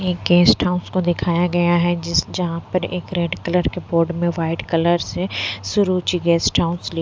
एक guest house को दिखाया गया है जिस जहाँ पर एक रेड कलर के बोर्ड में वाइट कलर से सुरुची गेस्ट हाउस लि --